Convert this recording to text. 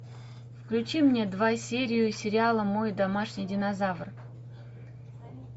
включи мне два серию сериала мой домашний динозавр